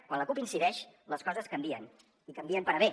quan la cup hi incideix les coses canvien i canvien per a bé